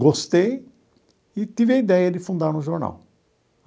Gostei e tive a ideia de fundar um jornal.